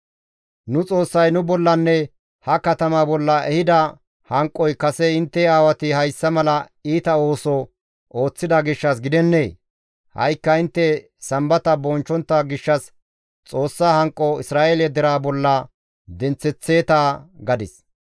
Nu Xoossay nu bollanne ha katama bolla ehida hanqoy kase intte aawati hayssa mala iita ooso ooththida gishshas gidennee? Ha7ikka intte Sambata bonchchontta gishshas Xoossa hanqo Isra7eele deraa bolla denththeththeeta» gadis.